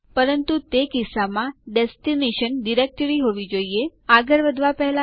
હવે તમે યુઝર અકાઉન્ટduck માટે સમાપ્તિ તારીખ સુયોજિત કરો